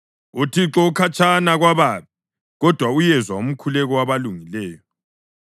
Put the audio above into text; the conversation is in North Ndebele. UThixo ukhatshana kwababi, kodwa uyezwa umkhuleko wabalungileyo.